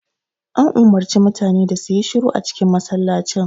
An umarci mutane da su yi shiru a cikin masallacin